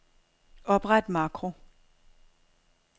Opret makro.